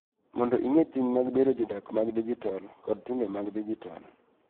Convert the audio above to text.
Mondo ing�e ting� mag bedo jodak mag dijitol kod timbe mag dijitol.